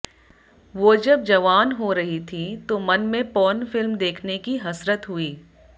वो जब जवान हो रही थीं तो मन में पोर्न फिल्म देखने की हसरत हुई